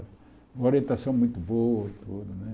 Uma orientação muito boa, tudo, né?